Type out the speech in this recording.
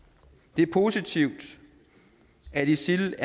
det er positivt at isil